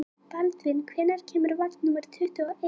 Baldvin, hvenær kemur vagn númer tuttugu og eitt?